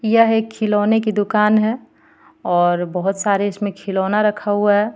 यह एक खिलोने की दूकान हे और बोहोत सारे इसमें खोलोना रखा हुआ हे.